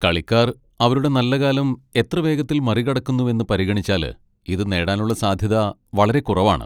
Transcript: കളിക്കാർ അവരുടെ നല്ലകാലം എത്ര വേഗത്തിൽ മറികടക്കുന്നുവെന്ന് പരിഗണിച്ചാല് ഇതു നേടാനുള്ള സാധ്യത വളരെ കുറവാണ്.